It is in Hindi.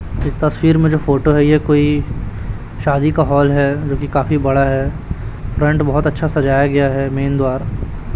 इस तस्वीर में जो फोटो है ये कोई शादी का हॉल है जोकि काफी बड़ा है फ्रंट बहोत अच्छा सजाया गया है मेन द्वार।